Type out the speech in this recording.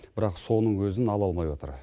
бірақ соның өзін ала алмай отыр